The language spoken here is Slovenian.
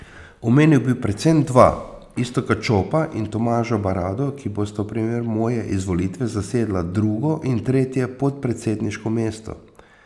Omenil bi predvsem dva, Iztoka Čopa in Tomaža Barado, ki bosta v primeru moje izvolitve zasedla drugo in tretje podpredsedniško mesto.